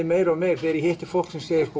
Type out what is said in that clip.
meir og meir þegar ég hitti fólk sem segir